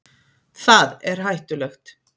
Það er hættulegt.